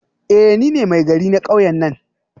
Eh nine Maigari na kauyen nan